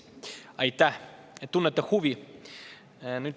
Aitäh, et tunnete huvi!